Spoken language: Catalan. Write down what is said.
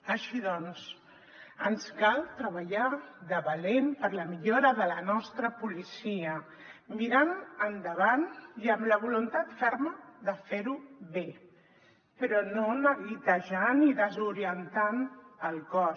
així doncs ens cal treballar de valent per la millora de la nostra policia mirant endavant i amb la voluntat ferma de fer ho bé però no neguitejant ni desorientant el cos